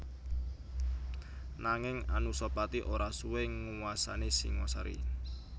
Nanging Anusapati ora suwé nguwasani Singasari